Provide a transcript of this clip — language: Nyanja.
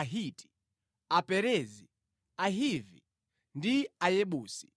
Ahiti, Aperezi, Ahivi ndi Ayebusi.